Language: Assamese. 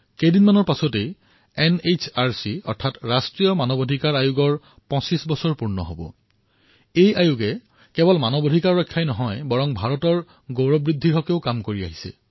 কিছুদিনৰ পিছতেই এনএইচআৰচিৰ ২৫ বৰ্ষ সমাপ্ত হব এনএইচআৰচিয়ে কেৱল মানৱ অধিকাৰৰ ৰক্ষা কৰাই নহয় মানৱীয় গৰিমা বৃদ্ধিৰো কাম কৰিছে